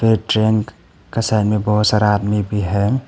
ये ट्रेन का साइड बहोत सारा आदमी भी है।